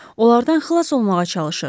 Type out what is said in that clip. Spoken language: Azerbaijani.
Onlardan xilas olmağa çalışır.